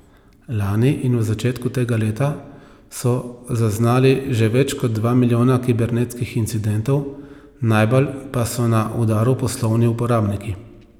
Lani in v začetku tega leta so zaznali že več kot dva milijona kibernetskih incidentov, najbolj pa so na udaru poslovni uporabniki.